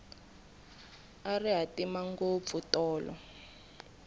a ri hatima ngopfu tolo